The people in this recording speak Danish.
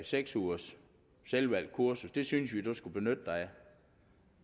seks ugers selvvalgt kursus det synes vi du skulle benytte dig af